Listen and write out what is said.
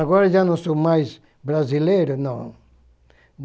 Agora já não sou mais brasileiro, não.